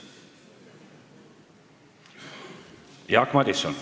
Jaak Madison.